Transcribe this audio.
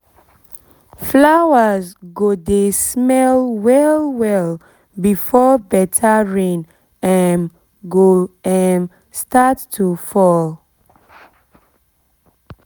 flowers go dey smell well well before better rain um go um start to fall